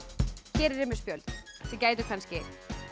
hér er ég með spjöld sem gætu kannski